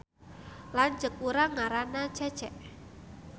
Lanceuk urang ngaranna Cece